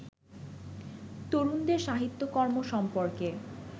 তরুণদের সাহিত্যকর্ম সম্পর্কে